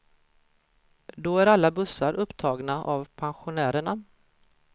Då är alla bussar upptagna av pensionärerna.